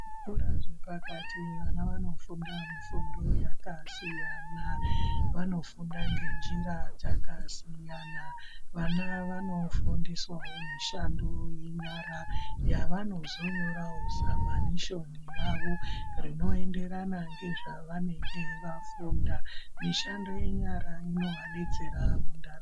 Zvikora zvepakati vana vanofunda mifundo yakasiyana vanofunda ngenjira dzakasiyana. Vana vanofundiswavo mishando yenyara yavanozonyoravo zamanishoni yavo, rinoenderana nezvavanenge vafunda. Mishando yenyara inovabetsera mundaramo.